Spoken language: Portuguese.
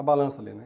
a balança ali, né?